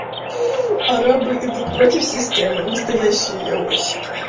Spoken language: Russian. арабы идут против системы настоящие яойщики